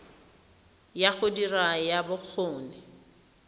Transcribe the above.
ya go dira ya bokgoni